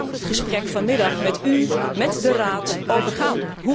Daar moet het gesprek vanmiddag met u, met de Raad over gaan.